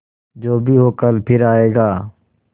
जो भी हो कल फिर आएगा